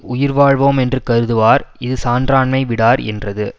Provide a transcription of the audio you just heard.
உயிர்வாழ்வோ மென்று கருதுவார் இது சான்றாண்மை விடார் என்றது